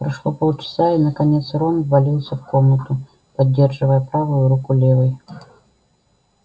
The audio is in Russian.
прошло полчаса и наконец рон ввалился в комнату поддерживая правую руку левой